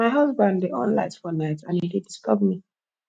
my husband dey on light for night and e dey disturb me